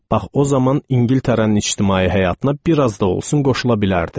Bax o zaman İngiltərənin ictimai həyatına bir az da olsun qoşula bilərdim.